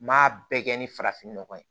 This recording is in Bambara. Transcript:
N m'a bɛɛ kɛ ni farafinnɔgɔ ye